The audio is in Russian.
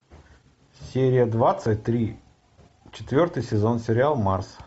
серия двадцать три четвертый сезон сериал марс